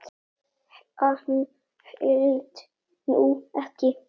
Hann hélt nú ekki.